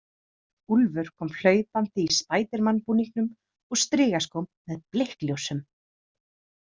Úlfur kom hlaupandi í spædermanbúningnum og strigaskóm með blikkljósum.